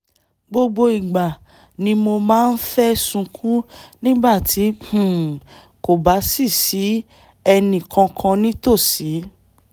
gbogbo ìgbà ni mo máa ń fẹ́ sunkún nígbà tí um kò bá sí sí ẹnì kankan nítòsí